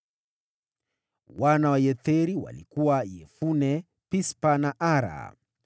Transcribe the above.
Wana wa Yetheri walikuwa: Yefune, Pispa na Ara.